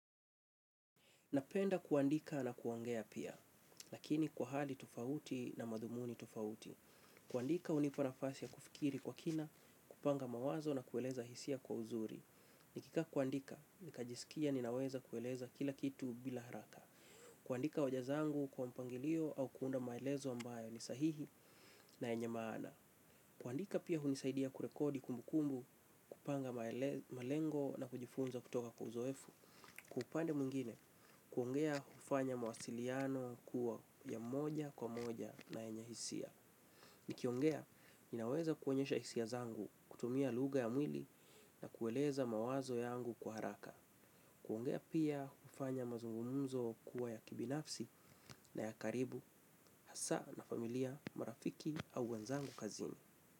Napenda kuandika na kuangea pia, lakini kwa hali tufauti na madhumuni tufauti. Kuandika hunipa nafasi ya kufikiri kwa kina, kupanga mawazo na kueleza hisia kwa uzuri. Nikikaa kuandika, nikajisikia ninaweza kueleza kila kitu bila haraka. Kuandika hoja zangu kwa mpangilio au kuunda maelezo ambayo ni sahihi na yenye maana. Kuandika pia hunisaidia kurekodi kumbukumbu, kupanga maele malengo na kujifunza kutoka kwa uzoefu. Kwa upande mwingine, kuongea hufanya mawasiliano kuwa ya moja kwa moja na yenye hisia. Nikiongea, ninaweza kuonyesha hisia zangu, kutumia lugha ya mwili na kueleza mawazo yangu kwa haraka. Kuongea pia hufanya mazungumzo kuwa ya kibinafsi na ya karibu, hasa na familia, marafiki au wenzangu kazini.